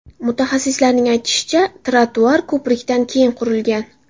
Mutaxassislarning aytishicha, ‘trotuar’ ko‘prikdan keyin qurilgan.